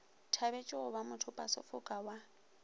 thabetše go ba mothopasefoka wa